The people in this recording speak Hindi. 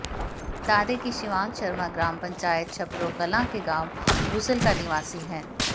बता दें कि शिवांग शर्मा ग्राम पंचायत छपरोह कलां के गांव बूसल का निवासी है